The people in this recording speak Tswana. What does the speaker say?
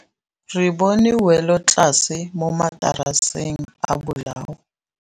Re bone wêlôtlasê mo mataraseng a bolaô.